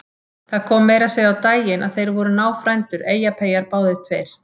Það kom meira að segja á daginn að þeir voru náfrændur, Eyjapeyjar báðir tveir!